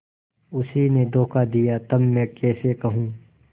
उसी ने धोखा दिया तब मैं कैसे कहूँ